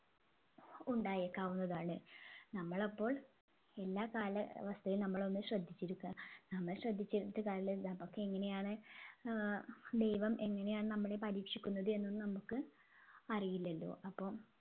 ഉണ്ടായേക്കാവുന്നതാണ് നമ്മൾ അപ്പോൾ എല്ലാ കാലാവസ്ഥയിലും നമ്മൾ ഒന്ന് ശ്രദ്ധിച്ചിരിക്ക നമ്മൾ ശ്രദ്ധിച്ചിരുന്നിട്ട് കാര്യമില്ല നമ്മുക്ക് എങ്ങനെയാണ് ഏർ ദൈവം എങ്ങനെയാണ് നമ്മളെ പരീക്ഷിക്കുന്നത് എന്നൊന്നും നമ്മുക്ക് അറിയില്ലല്ലോ